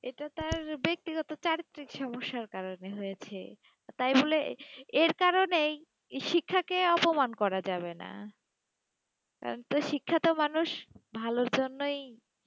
এটা তার ব্যক্তিগত চারিত্রিক সমস্যার কারণে হয়েছে, তাই বলে এ- এর কারণেই শিক্ষাকে অপমান করা যাবে না, কারণ তো শিক্ষা তো মানুষ ভালোর জন্যই,